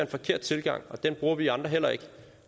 forkert tilgang og den bruger vi andre heller ikke